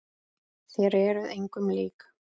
Þér eruð engum lík!